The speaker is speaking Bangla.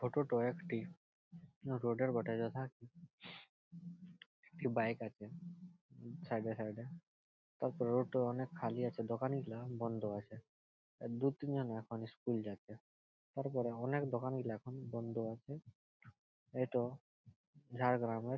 ফটো -টো একটি রোড -এর বটে যথা কি একটি বাইক আছে সাইড -এ সাইড -এ তারপরে রোড -ট অনেক খালি আছে | দোকান গিলা বন্ধ আছে | দু তিনজন এখন স্কুল যাচ্ছে তারপরে অনেক দোকান গিলা এখন বন্ধ আছে | এটো ঝাড়গ্রামের --